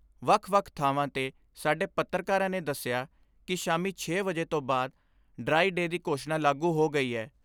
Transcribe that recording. ਵੱਖ ਵੱਖ ਥਾਵਾਂ ਤੋਂ ਸਾਡੇ ਪੱਤਰਕਾਰਾਂ ਨੇ ਦਸਿਆ ਕਿ ਸ਼ਾਮੀ ਛੇ ਵਜੇ ਤੋਂ ਬਾਅਦ ' ਡਰਾਈ ਡੇਅ ' ਦੀ ਘੋਸ਼ਣਾ ਲਾਗੂ ਹੋ ਗਈ ਏ।